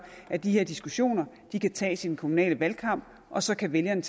at de her diskussioner kan tages i den kommunale valgkamp og så kan vælgerne